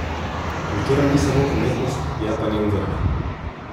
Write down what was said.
Kultura ni samo umetnost, je pa njen vrh.